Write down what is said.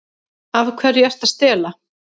Af hverju ertu að stela?